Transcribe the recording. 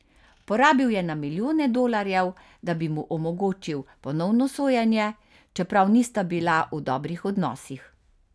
Porabil je na milijone dolarjev, da bi mu omogočil ponovno sojenje, čeprav nista bila v dobrih odnosih.